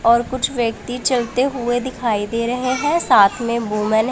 और कुछ व्यक्ति चलते हुए दिखाई दे रहे हैं साथ में वूमेन --